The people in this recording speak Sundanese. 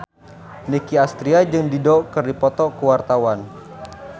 Nicky Astria jeung Dido keur dipoto ku wartawan